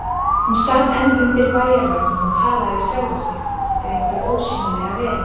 Hún sat enn undir bæjarveggnum og talaði við sjálfa sig eða einhverja ósýnilega veru.